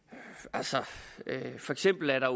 altså for eksempel er der